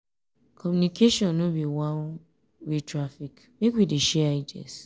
communication no be one-way traffic make we dey share ideas.